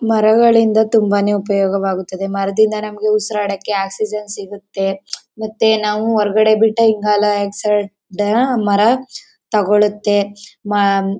ಮರಗಳಿಂದ ತುಂಬಾನೇ ಉಪಯೋಗವಾಗುತ್ತದೆ. ಮರದಿಂದ ನಮಗೆ ಉಸಿರಾಡಕ್ಕೆ ಆಕ್ಸಿಜನ್ ಸಿಗತ್ತೆ ಮತ್ತೆ ನಾವು ಹೊರಗಡೆ ಬಿಟ್ಟ ಇಂಗಾಲ ಆಕ್ಸೈಡ್ ಮರ ತಗೋಳತ್ತೆ. ಮ--